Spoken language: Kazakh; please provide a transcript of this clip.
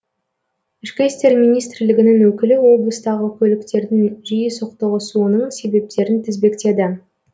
ішкі істер министрлігінің өкілі облыстағы көліктердің жиі соқтығысуының себептерін тізбектеді